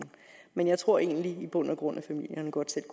men jeg tror egentlig i bund og grund at familierne godt selv